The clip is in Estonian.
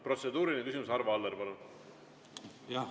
Protseduuriline küsimus, Arvo Aller, palun!